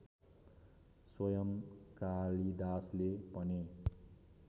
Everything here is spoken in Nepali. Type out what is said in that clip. स्वयं कालिदासले पनि